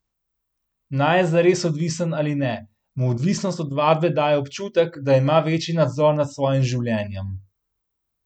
Naj je zares odvisen ali ne, mu odvisnost od vadbe daje občutek, da ima večji nadzor nad svojim življenjem.